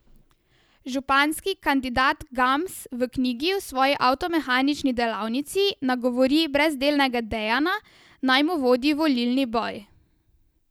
Županski kandidat Gams v knjigi v svoji avtomehanični delavnici nagovori brezdelnega Dejana, naj mu vodi volilni boj.